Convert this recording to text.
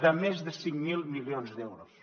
de més de cinc mil milions d’euros